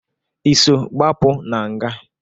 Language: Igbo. Ị so gbapụ na nga?